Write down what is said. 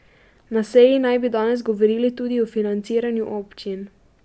Na seji naj bi danes govorili tudi o financiranju občin.